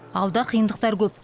алда қиындықтар көп